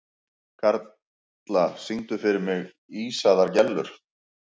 Karla, syngdu fyrir mig „Ísaðar Gellur“.